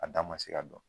A da ma se ka dɔn